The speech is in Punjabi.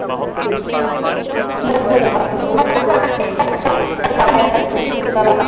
ਪ੍ਰੀਤ ਨੂੰ ਤਾਂ .